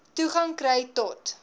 toegang kry to